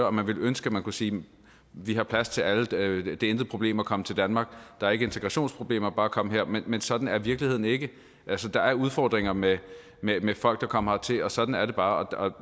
og man ville ønske at man kunne sige vi har plads til alle det er intet problem at komme til danmark der er ikke integrationsproblemer bare komme hertil men sådan er virkeligheden ikke altså der er udfordringer med med folk der kommer hertil og sådan er det bare og